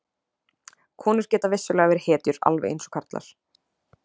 Konur geta vissulega verið hetjur alveg eins og karlar.